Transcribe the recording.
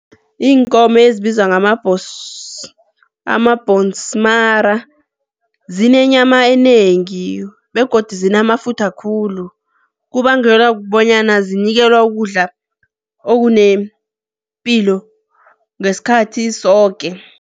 Iinkomo ezibizwa amabhonsmara zinenyama enengi begodu zinamafutha khulu, kubangelwa kubonyana zinikelwa ukudla okunepilo ngesikhathi soke.